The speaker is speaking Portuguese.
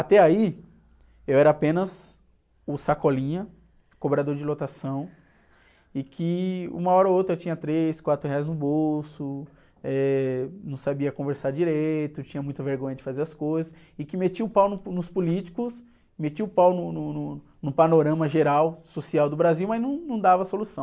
Até aí, eu era apenas o, cobrador de lotação, e que uma hora ou outra eu tinha três, quatro reais no bolso, eh, não sabia conversar direito, tinha muita vergonha de fazer as coisas, e que metia o pau no, nos políticos, metia o pau no, no, no, no panorama geral social do Brasil, mas não, não dava solução.